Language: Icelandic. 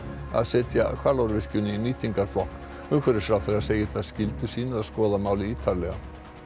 að setja Hvalárvirkjun í nýtingarflokk umhverfisráðherra segir það skyldu sína að skoða málið ítarlega